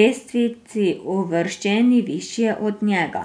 lestvici uvrščeni višje od njega.